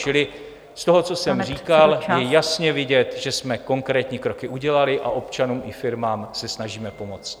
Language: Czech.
Čili z toho, co jsem říkal , je jasně vidět, že jsme konkrétní kroky udělali a občanům i firmám se snažíme pomoct.